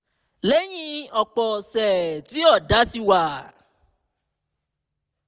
lẹ́yìn ọ̀pọ̀ ọ̀sẹ̀ tí ọ̀dá ti wà